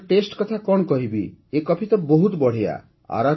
ତା'ର ଟେଷ୍ଟ କଥା କ'ଣ କହିବି ଏ କଫି ତ ବହୁତ ବଢ଼ିଆ